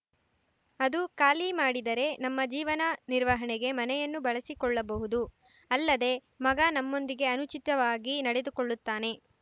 ಅದು ಖಾಲಿ ಮಾಡಿದರೆ ನಮ್ಮ ಜೀವನ ನಿರ್ವಹಣೆಗೆ ಮನೆಯನ್ನು ಬಳಸಿಕೊಳ್ಳಬಹುದು ಅಲ್ಲದೇ ಮಗ ನಮ್ಮೊಂದಿಗೆ ಅನುಚಿತವಾಗಿ ನಡೆದುಕೊಳ್ಳುತ್ತಾನೆ